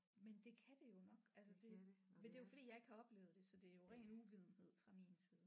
Men det kan det jo nok altså det men det er jo fordi jeg ikke har oplevet det så de er jo ren uvidenhed fra min side